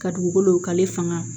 Ka dugukolo k'ale fanga